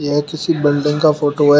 यह किसी बिल्डिंग का फोटो है।